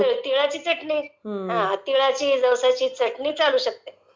ताळाची ..जवसाची चटणी चालू शकते...